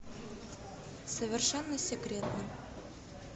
совершенно секретно